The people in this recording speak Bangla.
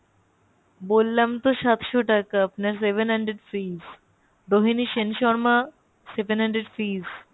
বললাম তো সাতশো টাকা, আপনাকে seven hundred fees Rohini Sen Sharma seven hundred fees